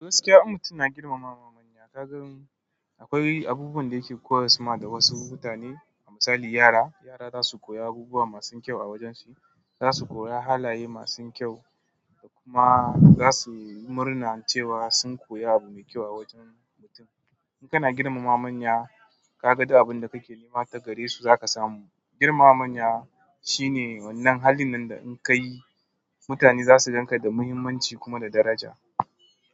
Gaskiya, in mutum na girmama manya. Ka gan akwai abubuwan da yake koyas ma da wasu mutane. A misali yara, yara za su koyi abubuwa masu kyau a wajen shi. Zasu koya hanaye masu kyau da kuma zasuyi murna cewa sun koya abu mai kyau wajen mutum in kana girmama manya, ka ga duk abin da kake nema ta gare su za ka samu. Girmama manya shine wannan halin nan da in kayi mutane zasu ganka da muhimmanci da kuma daraja.